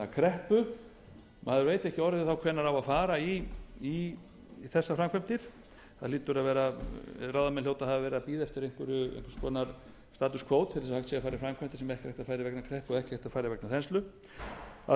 kreppu maður veit ekki orðið þá hvenær á að fara í þessar framkvæmdir ráðamenn hljóta að hafa verið að bíða eftir einhverju status co svo til þess að hægt sé að fara í framkvæmdir sem ekki er hægt að fara í vegna kreppu og ekki hægt að fara í vegna þenslu af því